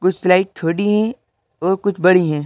कुछ स्लाइड छोटी हैं और कुछ बड़ी हैं।